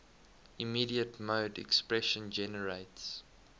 immediate mode expression generates